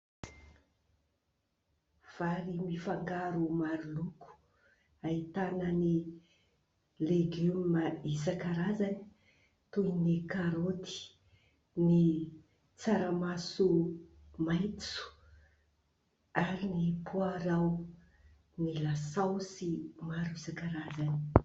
Vary mifangaro maro loko, ahitana ny legioma isankarazany : toy ny karoty, ny tsaramaso maitso ary ny poarao, ny lasaosy maro isankarazany.